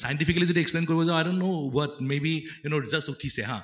scientifically যদি explain কৰিবলৈ যাওঁ i don't know what may be you know just উঠিছে হা ।